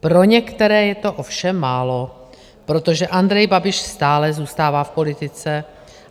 Pro některé je to ovšem málo, protože Andrej Babiš stále zůstává v politice.